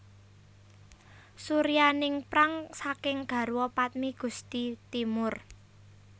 Suryaningprang saking garwa padmi Gusti Timur